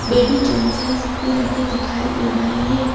Baby Johnson's भी रखे दिखाई दे रहे हैं।